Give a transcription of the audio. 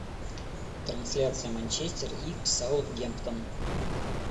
трансляция манчестер и саутгемптон